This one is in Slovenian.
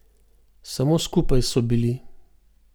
Samo skupaj so bili.